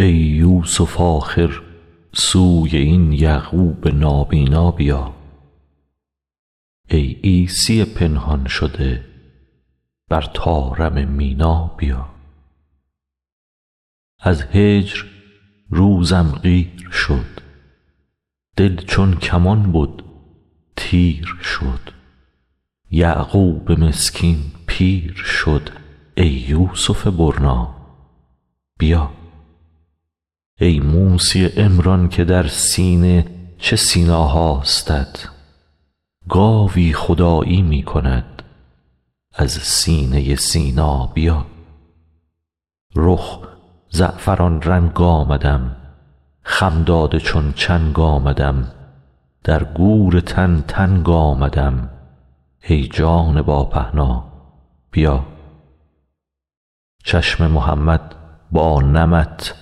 ای یوسف آخر سوی این یعقوب نابینا بیا ای عیسی پنهان شده بر طارم مینا بیا از هجر روزم قیر شد دل چون کمان بد تیر شد یعقوب مسکین پیر شد ای یوسف برنا بیا ای موسی عمران که در سینه چه سینا هاستت گاوی خدایی می کند از سینه سینا بیا رخ زعفران رنگ آمدم خم داده چون چنگ آمدم در گور تن تنگ آمدم ای جان با پهنا بیا چشم محمد با نمت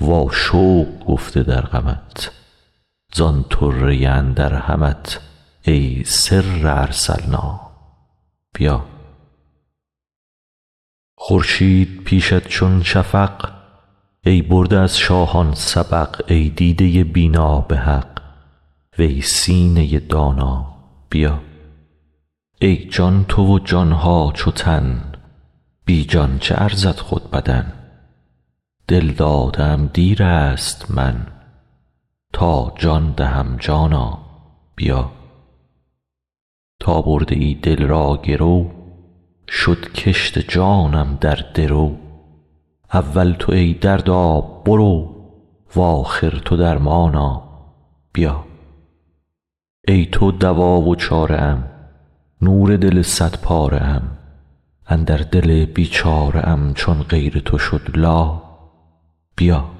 واشوق گفته در غمت زان طره اندر همت ای سر ارسلنا بیا خورشید پیشت چون شفق ای برده از شاهان سبق ای دیده بینا به حق وی سینه دانا بیا ای جان تو و جان ها چو تن بی جان چه ارزد خود بدن دل داده ام دیر است من تا جان دهم جانا بیا تا برده ای دل را گرو شد کشت جانم در درو اول تو ای دردا برو و آخر تو درمانا بیا ای تو دوا و چاره ام نور دل صدپاره ام اندر دل بیچاره ام چون غیر تو شد لا بیا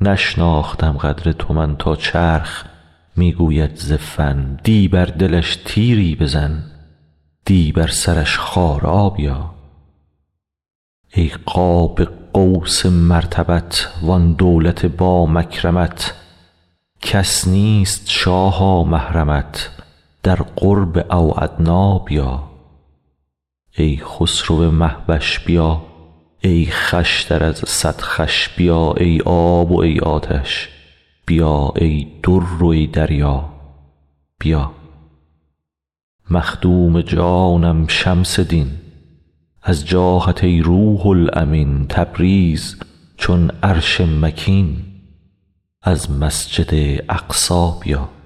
نشناختم قدر تو من تا چرخ می گوید ز فن دی بر دلش تیری بزن دی بر سرش خارا بیا ای قاب قوس مرتبت وان دولت با مکرمت کس نیست شاها محرمت در قرب او ادنی بیا ای خسرو مه وش بیا ای خوشتر از صد خوش بیا ای آب و ای آتش بیا ای در و ای دریا بیا مخدوم جانم شمس دین از جاهت ای روح الامین تبریز چون عرش مکین از مسجد اقصی بیا